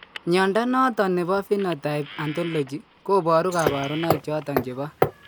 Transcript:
Mnyondo noton nebo Phenotype Ontology koboru kabarunaik choton chebo